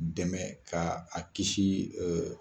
Dɛmɛ k'a kiisi